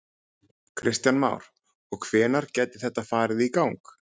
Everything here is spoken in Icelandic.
Kristján Már: Og hvenær gæti þetta farið í gang?